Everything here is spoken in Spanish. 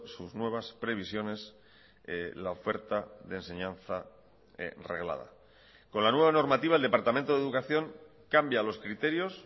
sus nuevas previsiones la oferta de enseñanza reglada con la nueva normativa el departamento de educación cambia los criterios